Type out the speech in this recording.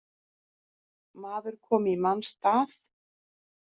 Maður komi í manns stað